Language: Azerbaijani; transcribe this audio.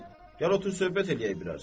Gəl, gəl otur söhbət eləyək biraz.